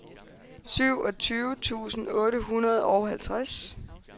syvogtyve tusind otte hundrede og halvtreds